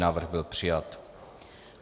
Návrh byl přijat.